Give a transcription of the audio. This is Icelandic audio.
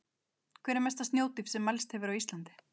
Hver er mesta snjódýpt sem mælst hefur á Íslandi?